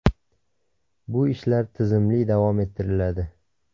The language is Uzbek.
Bu ishlar tizimli davom ettiriladi.